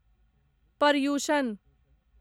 Paryushan